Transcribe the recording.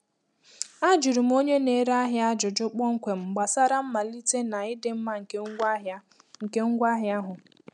Ajụrụ m onye na-ere ahịa ajụjụ kpọmkwem gbasara mmalite na ịdị mma nke ngwaahịa nke ngwaahịa ahụ.